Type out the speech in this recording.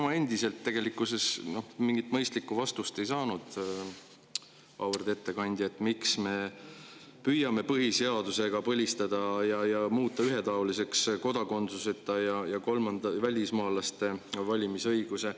Ma endiselt tegelikult ei saanud mingit mõistlikku vastust, miks me püüame põhiseadusega põlistada ja muuta ühetaoliseks kodakondsuseta ja kolmandate välismaalaste valimisõiguse.